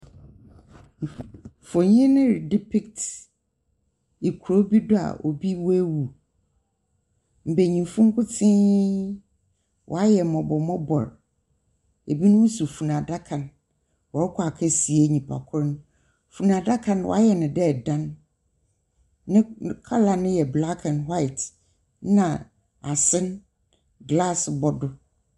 Mfonyin yi redepikts kuro bi do a obi waawu mbanyinfo nkotee waayɛ mɔbɔ mɔbɔ ebi nom so funu adaka wɔɔkɔ akɔsie nipa korɔ no funu adaka no waayɛ no dɛ ɛdan ne kala no yɛ blak and hwaet na ase glaase bɔ do.